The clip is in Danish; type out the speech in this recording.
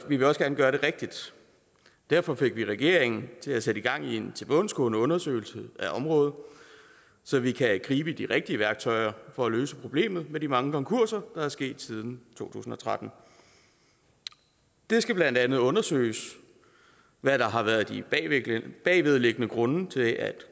vil også gerne gøre det rigtigt derfor fik vi regeringen til at sætte gang i en tilbundsgående undersøgelse af området så vi kan gribe de rigtige værktøjer for at løse problemet med de mange konkurser der er sket siden to tusind og tretten det skal blandt andet undersøges hvad der har været de bagvedliggende grunde til at